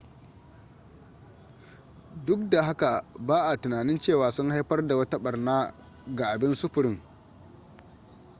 duk da haka ba'a tunanin cewa sun haifar da wata ɓarna ga abin sufurin